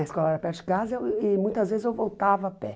A escola era perto de casa e muitas vezes eu voltava a pé.